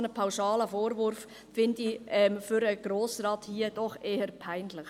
Ein solch pauschaler Vorwurf eines Grossrats erachte ich eher als peinlich.